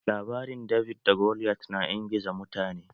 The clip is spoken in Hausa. Labarin David da Goliath na ingiza mutane